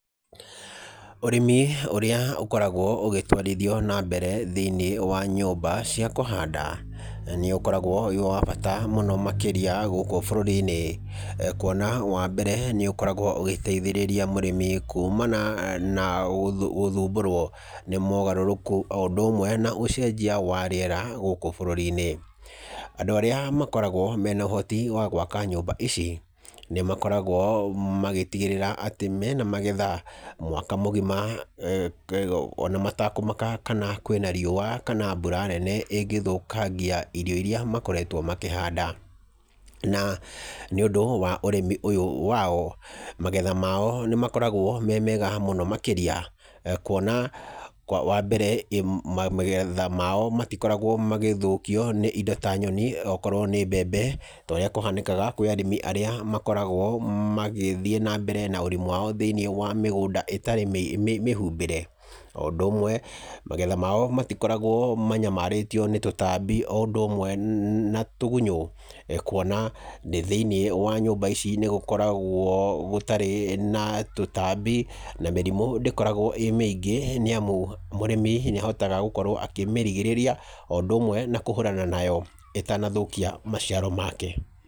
Ũrĩmi ũrĩa ũkoragwo ugĩtwarithio na mbere thĩiniĩ wa nyũmba cia kũhanda, nĩ ukoragwo wĩ wa bata mũno makĩria gũkũ bũrũri-inĩ, kuona wa mbere nĩ ũkoragwo ũgĩteithĩĩria mũrĩmi kumana na gũthumbũrwo nĩ mogarũrũku o ũndũ ũmwe na ũcenjia wa rĩera gũkũ bũrũri-inĩ. Andũ arĩa makoragwo me na ũhoti wa gwaka nyũmba ici nĩ makoragwo magĩtigĩrĩra atĩ me na magetha mwaka mũgima ona matakũmaka kana kwĩ na riũa kana mbura nene ĩngĩthũkangia irio iria makoretwo makĩhanda. Na nĩũndũ wa ũrĩmi ũyũ wao, magetha mao nĩ makoragwo me mega mũno makĩria, kuona wa mbere magetha mao matikoragwo magĩthũkio nĩ indo ta nyoni okorwo nĩ mbembe ta ũrĩa kũhanĩkaga kũrĩ arĩmi arĩa makoragwo magĩthiĩ na mbere na ũrĩmi wao thĩiniĩ wa mĩgũnda ĩtarĩ mĩhumbĩre, o ũndũ ũmwe, magetha mao matikoragwo manyamarĩtio nĩ tũtambi o ũndũ ũmwe na tũgunyu, kuona thĩiniĩ wa nyũmba ici nĩ gũkoragwo gũtarĩ na tũtambi na mĩrimũ ndĩkoragwo ĩ mĩingĩ, nĩ amu mũrĩmi nĩ ahotaga gũkorwo akĩmĩrigĩrĩria o ũndũ ũmwe na kũhũrana nayo ĩtanathũkia maciaro make.